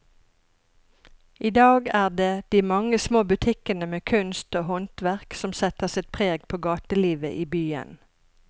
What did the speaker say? I dag er det de mange små butikkene med kunst og håndverk som setter sitt preg på gatelivet i byen.